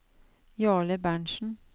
Jarle Berntsen